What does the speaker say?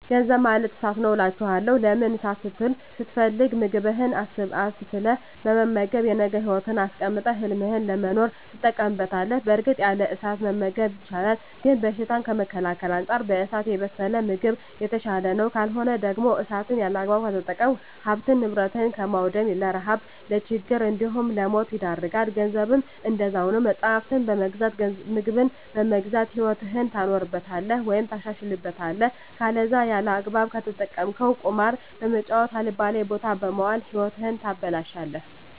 ገንዘብ ማለት እሳት ነዉ አላቸዋለሁ። ለምን እሳትን ስትፈልግ ምግብህን አብስለህ በመመገብ የነገ ህይወትህን አስቀጥለህ ህልምህን ለመኖር ትጠቀምበታለህ በእርግጥ ያለ እሳት መመገብ ይቻላል ግን በሽታን ከመከላከል አንፃር በእሳት የበሰለ ምግብ የተሻለ ነዉ። ካልሆነ ደግሞ እሳትን ያለአግባብ ከተጠቀምክ ሀብትን ንብረት በማዉደም ለረሀብ ለችግር እንዲሁም ለሞት ይዳርጋል። ገንዘብም እንደዛዉ ነዉ መፅሀፍትን በመግዛት ምግብን በመግዛት ህይወትህን ታኖርበታለህ ወይም ታሻሽልበታለህ ከለዛ ያለአግባብ ከተጠቀምከዉ ቁማር በመጫወት አልባሌ ቦታ በመዋል ህይወትህን ታበላሸለህ።